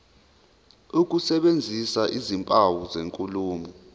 ukusebenzisa izimpawu zenkulumo